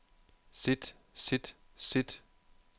sit sit sit